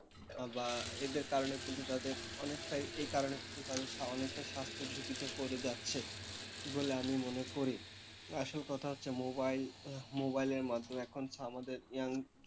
বা এদের কারণে কিন্তু তাদের অনেকটাই এই কারণে কিন্তু তাদের অনেকটা স্বাস্থ্য ঝুঁকিতে পরে যাচ্ছে বলে আমি মনে করি। আসল কথা হচ্ছে mobile mobile এর মাধ্যমে এখন আমাদের young,